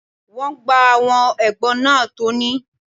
Wọ́n gba àwọn ẹ̀gbọ́n náà tọ́ ni.